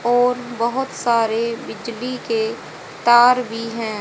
और बहुत सारे बिजली के तार भी हैं।